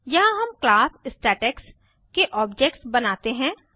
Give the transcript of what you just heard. यहाँ हम class statics के ऑब्जेक्ट्स बनाते हैं